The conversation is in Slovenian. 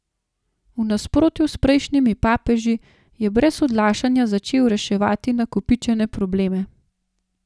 V nasprotju s prejšnjimi papeži je brez odlašanja začel reševati nakopičene probleme.